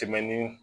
Tɛmɛni